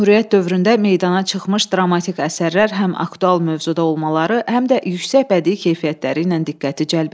Cümhuriyyət dövründə meydana çıxmış dramatik əsərlər həm aktual mövzuda olmaları, həm də yüksək bədii keyfiyyətləri ilə diqqəti cəlb edir.